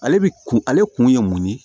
Ale bi kun ale kun ye mun ye